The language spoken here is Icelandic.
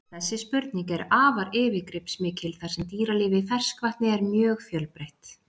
Þessi spurning er afar yfirgripsmikil þar sem dýralíf í ferskvatni er mjög fjölbreytt.